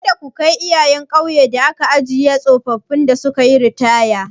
Kada ku kai iyayen ƙauyen da ake ajiye tsofaffin da sukayi ritaya.